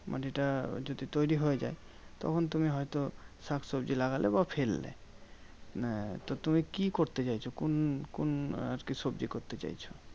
মাটিতে যদি তৈরী হয়ে যায়, তখন তুমি হয়তো শাকসবজি লাগালে বা ফেললে। আহ তো তুমি কি করতে চাইছো? কোন কোন আরকি সবজি করতে চাইছো?